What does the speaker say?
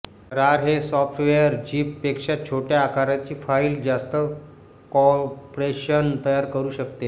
रार हे software zip पेक्षा छोट्या आकाराची फाईल जास्त कॉंप्रेशन तयार करु शकते